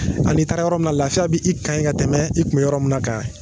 Ani i taara yɔrɔ min na lafiya bɛ i kan yen ka tɛmɛ i kun bɛ yɔrɔ min kan.